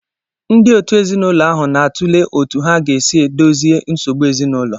Ndị òtù ezinụlọ ahụ na-atụle otú ha ga-esi dozie nsogbu ezinụlọ.